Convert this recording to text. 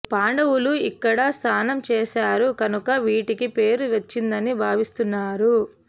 పాండవులు ఇక్కడ స్నానం చేసారు కనుక వీటికీ పేరు వచ్చిందని భావిస్తున్నారు